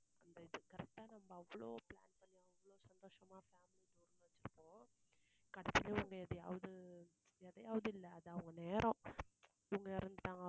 அந்த இத correct ஆ நம்ம அவளோ கடைசீல அவங்க எதையாவது எதையாவது இல்ல, அது அவங்க நேரம். இவங்க இறந்துட்டாங்க